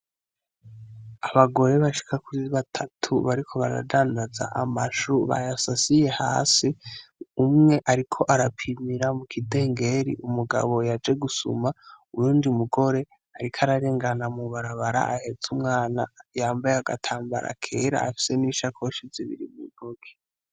Abagore bashika kuri batatu bariko baradanadanza amashu bayasasiye hasi, umwe ariko arapimira mu kidengeri. Umugabo yaje gusuma, uyundi mugore ariko ararengana mu barabara ahetse umwana yambaye agatarambara kera afise n'ishakoshi zibiri mu ntoki.